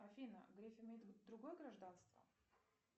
афина греф имеет другое гражданство